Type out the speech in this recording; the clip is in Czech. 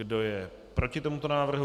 Kdo je proti tomuto návrhu?